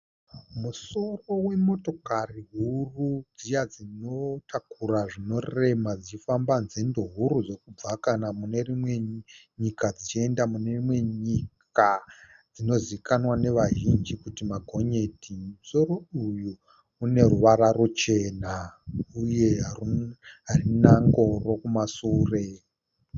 Musoro wemotokari huru dziya dzinotakura zvinorema dzichifamba nzendo huru dzekubva mune imwe nyika kuenda kune imwe nyika dzinozikamwa nevazhinji kunzimaGonyeti. Musoro uyu une ruvara ruchena, uye harina ngoro kumasure.